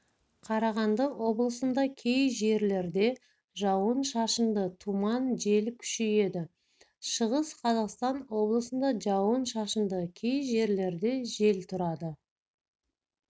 қарағанды облысында кей жерлерде жауын-шашынды тұман жел күшейеді шығыс қазақстан облысында жауын-шашынды кей жерлерде жел тұрады